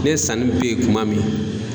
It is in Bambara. Ne sanni bɛ ye kuma min